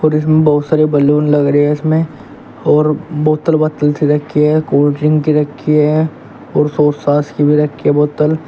और इसमें बहुत सारे बलून लग रहे हैं इसमें और बोतल बातल सी रखी है कोल्ड ड्रिंक रखी है और सोस सास की भी रखी है बोतल ।